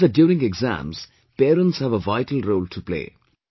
He says that during exams, parents have a vital role to play